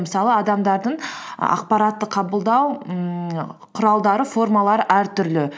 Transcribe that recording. мысалы адамдардың ақпаратты қабылдау ммм құралдары формалары әртүрлі